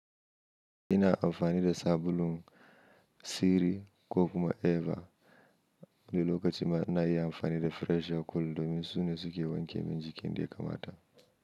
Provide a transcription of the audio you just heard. Ina amfanida sabulun, siri ko kuma eva wani lokachi ma na iya amfanida fresher cool domin su ne suke wanke min jiki yanda ya kamata.